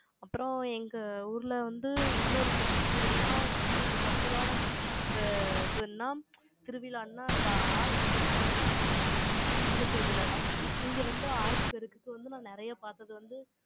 அப்புறம் எங்க ஊர்ல வந்து, இன்னொரு festival னா, ரொம்ப special ஆன இது, நா திருவிழா அண்ணா, அந்த ஆடிப்பெருக்கும்பாங்கல்ல, அந்த திருவிழாதான். இங்க வந்து, ஆடிப்பெருக்குக்கு வந்து, நான் நிறைய பார்த்தது வந்து,